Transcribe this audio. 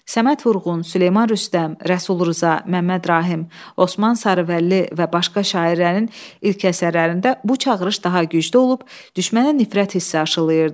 Səməd Vurğun, Süleyman Rüstəm, Rəsul Rza, Məmməd Rahim, Osman Sarıvəlli və başqa şairlərin ilk əsərlərində bu çağırış daha güclü olub, düşmənə nifrət hissi aşılayırdı.